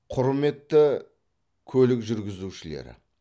құрметті көлік жүргізушілері